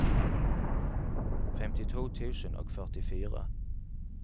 femtito tusen og førtifire